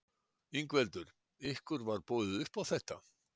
Ingveldur: Ykkur var boðið upp á þetta?